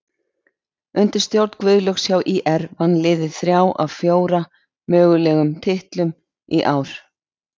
Undir stjórn Guðlaugs hjá ÍR vann liðið þrjá af fjóra mögulegum titlum í ár.